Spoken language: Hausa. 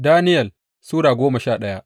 Daniyel Sura goma sha daya